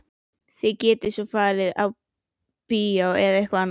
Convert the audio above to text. Þið getið svo farið á bíó eða eitthvað annað.